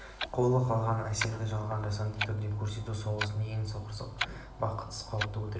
қулық алған әсерлерді жалған жасанды түрде көрсету соғыста ең сорақы бақытсыздық қауіпті өтірік